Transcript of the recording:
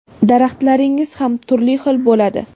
daraxtlaringiz ham turli xil bo‘ladi.